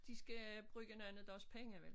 De skal bruge nogen af deres penge vel